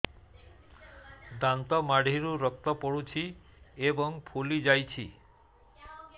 ଦାନ୍ତ ମାଢ଼ିରୁ ରକ୍ତ ପଡୁଛୁ ଏବଂ ଫୁଲି ଯାଇଛି